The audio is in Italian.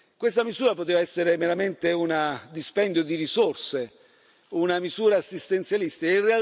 Questa misura poteva essere meramente un dispendio di risorse, una misura assistenzialistica.